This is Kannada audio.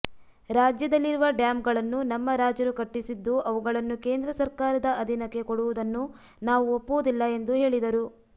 ರಾಜ್ಯದಲ್ಲಿರುವ ಡ್ಯಾಮ್ಗಳನ್ನು ನಮ್ಮ ರಾಜರು ಕಟ್ಟಿಸಿದ್ದು ಅವುಗಳನ್ನು ಕೇಂದ್ರ ಸರ್ಕಾರದ ಅಧೀನಕ್ಕೆ ಕೊಡುವುದನ್ನು ನಾವು ಒಪ್ಪುವುದಿಲ್ಲ ಎಂದು ಹೇಳಿದರು